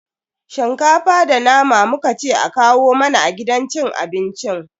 Shinkafa da nama muka ce a kawo mana a gidan cin abincin.